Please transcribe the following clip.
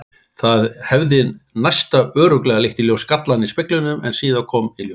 Það hefði næsta örugglega leitt í ljós gallann í speglinum sem síðar kom í ljós.